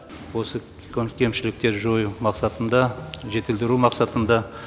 осы кемшіліктер жою мақсатында жетілдіру мақсатында